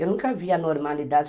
Eu nunca vi a normalidade.